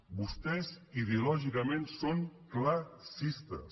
vostès ideològicament són classistes